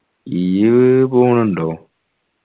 ഈയ്യ്‌ പോണുണ്ടോ